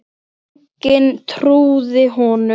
Enginn trúði honum.